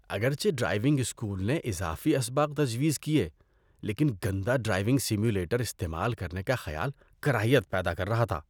اگرچہ driving school نے اضافی اسباق تجویز کیے، لیکن گندا ڈرائیونگ سیمولیٹر استعمال کرنے کا خیال کراہیت پیدا کر رہا تھا۔